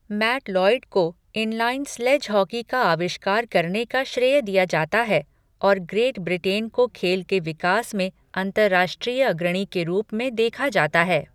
Mat Lloyd को inline sledge hockey का आविष्कार करने का श्रेय दिया जाता है और ग्रेट ब्रिटेन को खेल के विकास में अंतर्राष्ट्रीय अग्रणी के रूप में देखा जाता है।